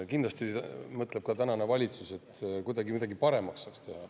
Kindlasti mõtleb ka praegune valitsus, kuidas midagi paremaks saaks teha.